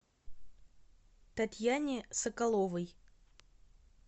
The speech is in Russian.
татьяне соколовой